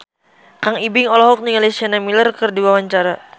Kang Ibing olohok ningali Sienna Miller keur diwawancara